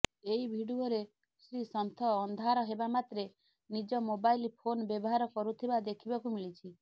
ଏହି ଭିଡିଓରେ ଶ୍ରୀସନ୍ଥ ଅନ୍ଧାର ହେବାମାତ୍ରେ ନିଜ ମୋବାଇଲ୍ ଫୋନ୍ ବ୍ୟବହାର କରୁଥିବା ଦେଖିବାକୁ ମିଳିଛି